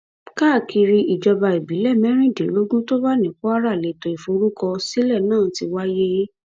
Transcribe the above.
káàkiri ìjọba ìbílẹ mẹrìndínlógún tó wà ní kwara lẹtọ ìforúkọsílẹ náà ti wáyé